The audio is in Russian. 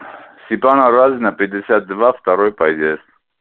степана разина пятьдесят два второй подъезд